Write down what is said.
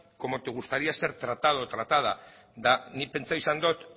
como te gustaría ser tratado o tratada eta nik pentsatu izan dut